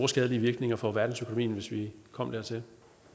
skadelige virkninger for verdensøkonomien hvis vi kom dertil